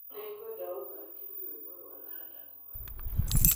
Nĩ ngũkũhoya ũthakire rwĩmbo rwa rada kũgarũrũka